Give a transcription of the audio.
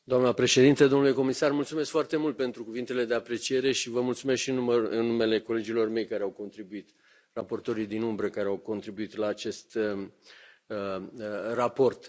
Doamnă președintă, domnule comisar, mulțumesc foarte mult pentru cuvintele de apreciere și vă mulțumesc și în numele colegilor mei care au contribuit, raportorii din umbră care au contribuit la acest raport.